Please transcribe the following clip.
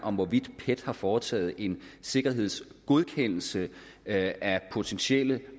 hvorvidt pet har foretaget en sikkerhedsgodkendelse af potentielt